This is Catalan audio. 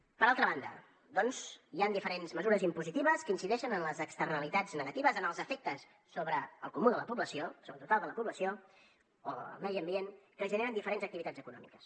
per altra banda doncs hi han diferents mesures impositives que incideixen en les externalitats negatives en els efectes sobre el comú de la població o el total de la població o el medi ambient que generen diferents activitats econòmiques